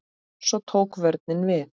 Svo tók vörnin við.